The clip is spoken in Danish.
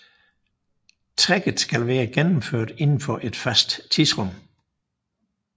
Trækket skal være gennemført indenfor et fastsat tidsrum